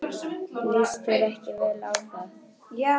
Líst þér ekki vel á það?